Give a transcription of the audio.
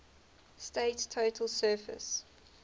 state's total surface